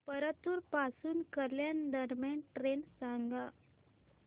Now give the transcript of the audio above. परतूर पासून कल्याण दरम्यान ट्रेन सांगा